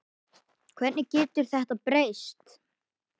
Hvernig getur þetta breyst?